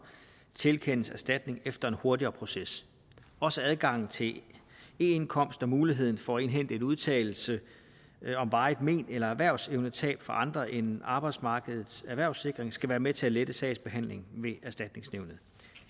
tilkendes erstatning efter en hurtigere proces også adgangen til eindkomst og muligheden for at indhente en udtalelse om varigt men eller erhvervsevnetab fra andre end arbejdsmarkedets erhvervssikring skal være med til at lette sagsbehandlingen ved erstatningsnævnet